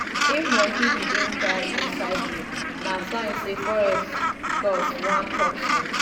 if monkey begin cry inside rain na sign say forest gods wan talk something.